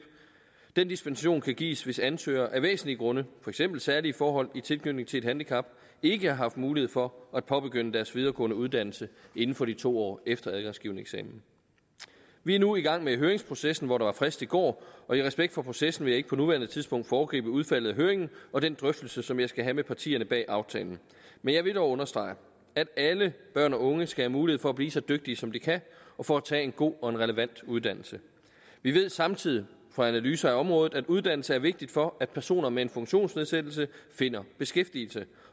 den dispensation kan gives hvis ansøgere af væsentlige grunde for eksempel særlige forhold i tilknytning til et handicap ikke har haft mulighed for at påbegynde deres videregående uddannelse inden for de to år efter adgangsgivende eksamen vi er nu i gang med høringsprocessen hvor der var frist i går og i respekt for processen vil jeg ikke på nuværende tidspunkt foregribe udfaldet af høringen og den drøftelse som jeg skal have med partierne bag aftalen men jeg vil dog understrege at alle børn og unge skal have mulighed for at blive så dygtige som de kan og for at tage en god og en relevant uddannelse vi ved samtidig fra analyser af området at uddannelse er vigtig for at personer med en funktionsnedsættelse finder beskæftigelse